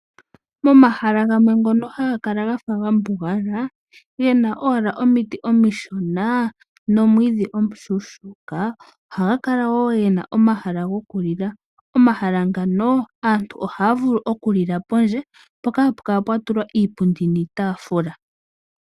Momahala gamwe ngono haga kala gafa ga mbugala, gena owala omiti omishona nomwiidhi omushuushuka, ohaga kala woo gena omahala goku lila. Omahala ngano aantu ohaya vulu oku lila pondje mpoka hapu kala pwa tulwa iipundi niitafuula.